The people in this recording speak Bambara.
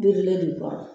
Biridulen de kɔnɔ